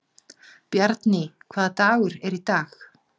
Bjarný, hvaða dagur er í dag?